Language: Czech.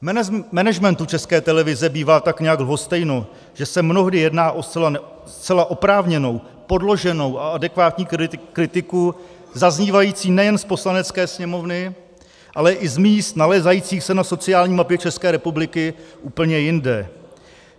Managementu České televize bývá tak nějak lhostejno, že se mnohdy jedná o zcela oprávněnou, podloženou a adekvátní kritiku zaznívající nejen z Poslanecké sněmovny, ale i z míst nalézajících se na sociální mapě České republiky úplně jinde.